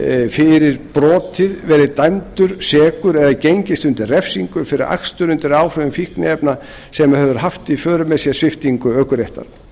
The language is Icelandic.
fyrir brotið verið dæmdur sekur eða gengist undir refsingu fyrir akstur undir áhrifum fíkniefna sem hefur haft í för með sér sviptingu ökuréttar